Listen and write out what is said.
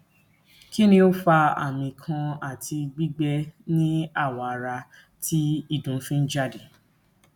kini o fa ami kan ati gbigbe ni awo ara ti idun fi n jade